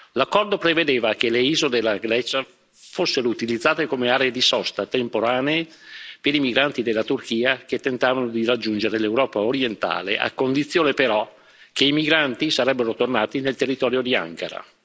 L'accordo prevedeva che le isole della Grecia fossero utilizzate come aree di sosta temporanee per i migranti della Turchia che tentavano di raggiungere l'Europa orientale, a condizione, però, che i migranti sarebbero tornati nel territorio di Ankara.